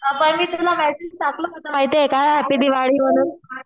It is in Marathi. पण मी तुला मॅसेज टाकलं होतं तुला माहितीये का? हॅप्पी दिवाळी म्हणून